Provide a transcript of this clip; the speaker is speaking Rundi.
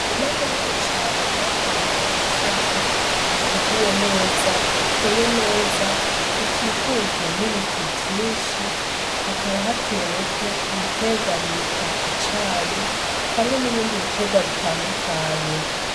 Rima munini cane urahanu ku musozi uteguwe neza uteye neza ukikujwe n'ibiti vyinshi hakaba hateweko ibiterwa bita icayi hamwe n'ibindi biterwa bitandukanye.